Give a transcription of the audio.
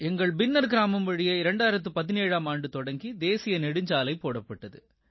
எங்கள் பின்னர் பின்னார் கிராமம் வழியே 2017ஆம் ஆண்டு தொடங்கி தேசிய நெடுஞ்சாலை போடப்பட்டது